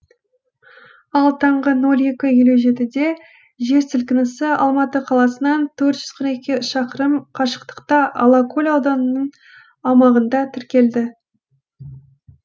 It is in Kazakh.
ал таңғы нөл екі елу жетіде жер сілкінісі алматы қаласынан төрт жүз қырық екі шақырым қашықтықта алакөл ауданының аумағында тіркелді